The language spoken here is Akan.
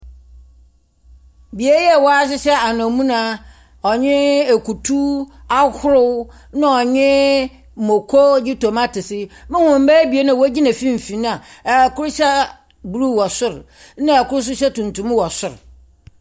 Bea a wɔahyehyɛ anamuna na ekutu ahorow na ɔnye muoko na tomatese. Muhu mbaa ebien a wogyina finimfin a kor hyɛ bruw wɔ sor na kor so hyɛ tuntum wɔ sor.